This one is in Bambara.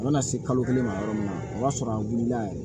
A bɛna se kalo kelen ma yɔrɔ min na o b'a sɔrɔ a wulila yɛrɛ